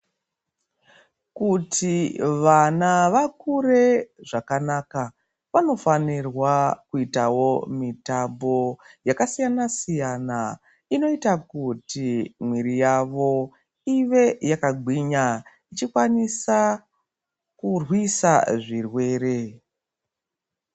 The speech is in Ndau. Kuti vana vakure zvakanaka vanofanirwa kuitawo mitambo yakasiyana siyana inoita kuti mwiri yawo iwe yakagwinya ichikwanisa kurwisa zvirwere.